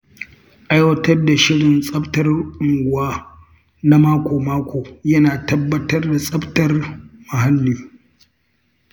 Aiwatar da shirin tsaftar unguwa na mako-mako yana tabbatar da tsabtar muhalli.